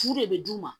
Fu de be d'u ma